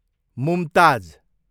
Mumtaz